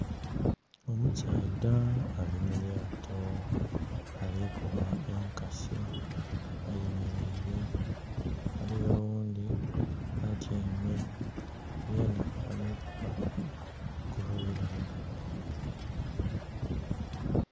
Omusaadha ali mu lyato ali kuba enkasi ayemeleire, ghaliyo oghundi atyaime yena ali kuba ku luuyi lule.